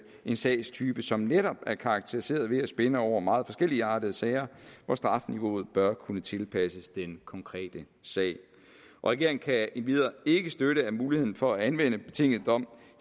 en sagstype som netop er karakteriseret ved at spænde over meget forskelligeartede sager hvor strafniveauet bør kunne tilpasses den konkrete sag regeringen kan endvidere ikke støtte at muligheden for at anvende betinget dom